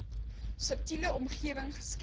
stabiele omgewing geskep